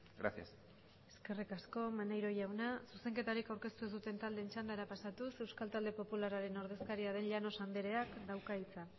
gracias eskerrik asko maneiro jauna zuzenketarik aurkeztu ez duten taldeen txandara pasatuz euskal talde popularraren ordezkaria den llanos andereak dauka hitza